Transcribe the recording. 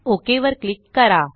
okay वर click करा